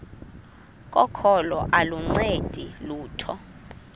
kokholo aluncedi lutho